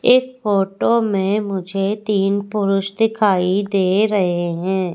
एक फोटो में मुझे तीन पुरुष दिखाई दे रहे हैं।